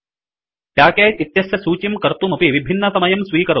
package इत्यस्य सूचीं कर्तुमपि विभिन्नसमयं स्वीकरोति